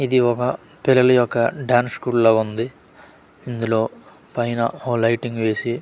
ఇది ఒక పిల్లలి యొక్క డాన్స్ స్కూల్ లాగా ఉంది ఇందులో పైన ఓ లయిటింగ్ వేసి.